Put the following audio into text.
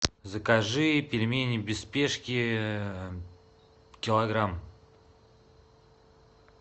закажи пельмени без спешки килограмм